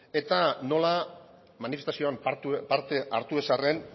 eta nola manifestazioan parte hartu ez arren